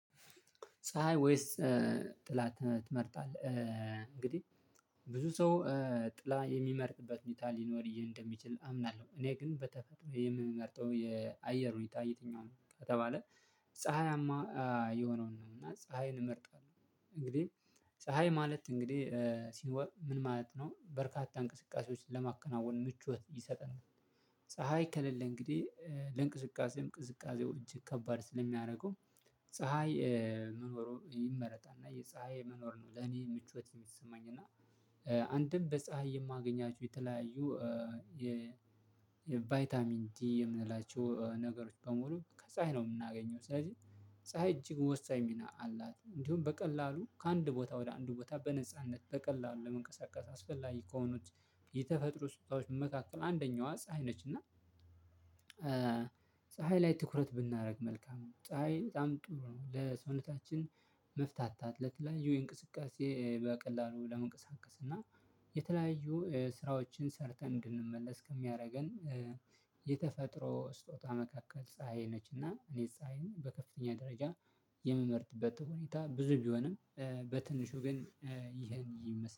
ፀሀይ ወይስ ጥላ ትመርጣለህ እንግዲህ ብዙ ሰው ጥላ የሚመርጥበት ሁኔታ ሊኖር እንደሚችል አምናለሁ እኔ ግን በተፈጥሮ የምመርጠው የአየር ሁኔታ የትኛውም ከተባለ ፀሀያማ የሆነውን ነው እና ፀሀይን እመርጣለሁ እንግዲህ ፀሀይ ማለት እንግዲህ ሲኖር ምን ማለት ነው በርካታ እንቅስቃሴዎችን ለማከናወን ምቾት ይሰጠናል ፀሀይ ከሌለ እንግዲህ ለእንቅስቃሴም ቅዝቃዜዎች እጅግ ከባድ ስለሚያደርገው ፀሀይ መኖሩ ይመረጣል እና የፀሀይ መኖር ነው ለኔ ምቾት የሚሰማኝ እና አንድም በፀሀይ የማገኛቸው የተለያዩ የቫይታሚን ዲ የምንላቸው ነገሮች በሙሉ ከፀሀይ ነው የምናገኘው ስለዚህ ፀሀይ እጅግ ወሳኝ ሚና አላት እንዲሁም በቀላሉ ከአንድ ቦታ ወደ አንድ ቦታ በነጻነት በቀላሉ ለመንቀሳቀስ አስፈላጊ ከሆኑት የተፈጥሮ ስጦታዎች በመካከል አንደኛዋ ፀሀይ ነች እና ፀሀይ ላይ ትኩረት ብናደርግ መልካም ነው ፀሀይ በጣም ጥሩ ነው ለሰውነታችን መፍታታት ለተለያዩ ላይ የእንቅስቃሴ በቀላሉ ለመንቀሳቀስ እና የተለያዩ ስራዎችን ሰርተን እንድንመለስ ከሚያደርገን የተፈጥሮ ስጦታ መካከል ፀሀይ ነችና እኔ ፀሀይን በከፍተኛ ደረጃ የምመርጥበት ሁኔታ ብዙ ቢሆንም በትንሹ ግን ይሄን ይመስላል።